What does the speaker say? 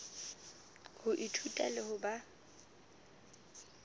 ho ithuta le ho ba